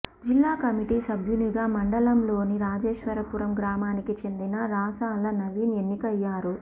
జిల్లా కమిటీ సభ్యునిగా మండలంలోని రాజేశ్వరపురం గ్రామానికి చెందిన రాసాల నవీన్ ఎన్నికయ్యారు